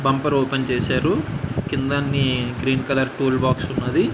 Bumper open చేసారు కింద అన్ని గ్రీన్ కలర్ టూల్ బాక్స్ ఉన్నది.